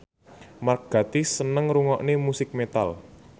Mark Gatiss seneng ngrungokne musik metal